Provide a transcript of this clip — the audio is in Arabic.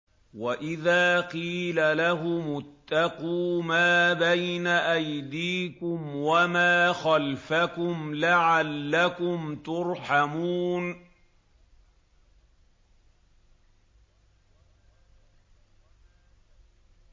وَإِذَا قِيلَ لَهُمُ اتَّقُوا مَا بَيْنَ أَيْدِيكُمْ وَمَا خَلْفَكُمْ لَعَلَّكُمْ تُرْحَمُونَ